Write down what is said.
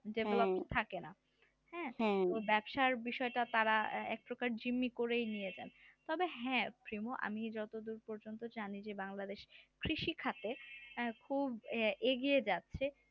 ব্যবসার দিকটা তারা একপ্রকার জুলুমই করেই নিয়ে নেন তবে হ্যাঁ প্রিমু আমি যতদূর পর্যন্ত জানি বাংলাদেশে কৃষিকাজে খুব এগিয়ে যাচ্ছে